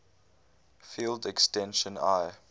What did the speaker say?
field extension l